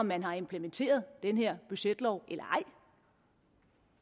man har implementeret den her budgetlov eller ej